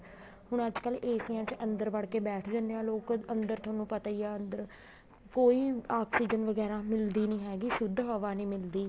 ਹੁਣ ਅੱਜਕਲ ਏਸੀਆਂ ਚ ਅੰਦਰ ਵੜ ਕੇ ਬੈਠ ਜਾਂਦੇ ਹਾਂ ਲੋਕ ਅੰਦਰ ਤੁਹਾਨੂੰ ਪਤਾ ਹੀ ਹੈ ਅੰਦਰ ਕੀ ਆਕਸੀਜਨ ਵਗੈਰਾ ਮਿਲਦੀ ਨੀ ਹੈਗੀ ਸ਼ੁੱਧ ਹਵਾ ਨੀ ਮਿਲਦੀ